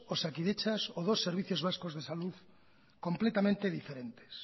osakidetzas o dos servicios vascos de salud completamente diferentes